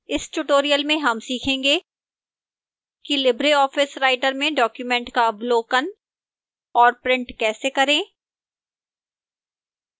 इस tutorial में हम सीखेंगे कि libreoffice writer में डॉक्यूमेंट का अवलोकन और प्रिंट कैसे करें